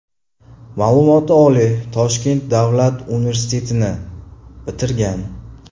Ma’lumoti oliy Toshkent Davlat universitetini bitirgan.